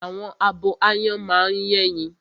Àwọn abo áyán máa ń yẹ́yin